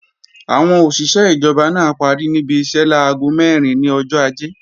Àwọn òṣìṣé ìjọba náà parí níbi iṣẹ́ láago mẹ́rin ní ọjọ́ Ajé